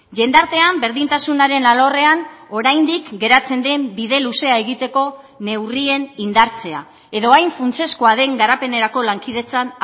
jendartean berdintasunaren alorrean oraindik geratzen den bide luzea egiteko neurrien indartzea edo hain funtsezkoa den garapenerako lankidetzan